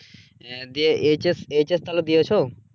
এহ দেব H S H S তাহলে দিয়েছো?